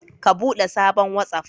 Ka bude sabon watsaf